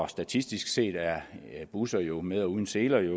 statistisk set er busserne jo med eller uden seler i